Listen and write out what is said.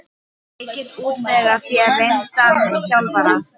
Ég get útvegað þér reyndan þjálfara.